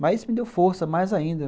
Mas isso me deu força mais ainda.